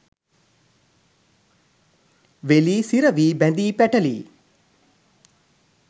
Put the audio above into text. වෙලී සිරවී බැඳී පැටලී